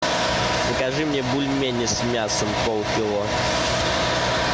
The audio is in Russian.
закажи мне бульмени с мясом полкило